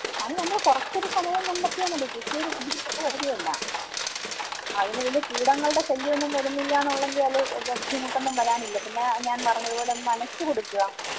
അത് നമ്മള് കൊറച്ചൊരു സമയം കണ്ടെത്തിയാൽ മതി കൃഷി ഒരു ബുദ്ധിമുട്ടുള്ള കാര്യമല്ല. അതിന് വല്യ കീടങ്ങളുടെ ശല്യം ഒന്നും വരുന്നില്ലാന്നുള്ളങ്കിയാല് വേറെ ബുദ്ധിമുട്ടൊന്നും വരാനില്ല പിന്നെ ഞാൻ പറഞ്ഞതുപോലെ ഒന്ന് നനച്ച് കൊടുക്കുക.